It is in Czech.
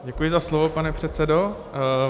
Děkuji za slovo, pane předsedo.